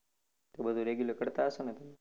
તે બધુ regular કરતા હશોને તમે?